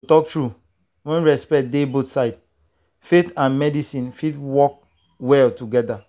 to talk true when respect dey both sides faith and medicine fit work work well together.